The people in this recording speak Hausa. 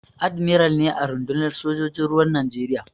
Admiral ne a rundunar sojojin ruwan Najeriya.